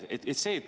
Teie aeg!